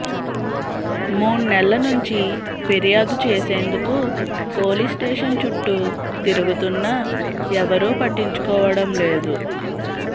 మూణ్నెల్ల నుంచి ఫిర్యాదు చేసేందుకు పోలీస్స్టేషన్ చుట్టూ తిరుగుతున్నా ఎవరూ పట్టించుకోవడంలేదు